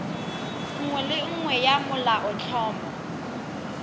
nngwe le nngwe ya molaotlhomo